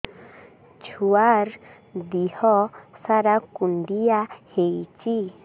ଛୁଆର୍ ଦିହ ସାରା କୁଣ୍ଡିଆ ହେଇଚି